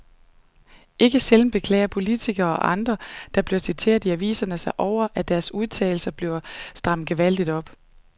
Ikke sjældent beklager politikere og andre, der bliver citeret i aviserne sig over, at deres udtalelser bliver strammet gevaldigt op.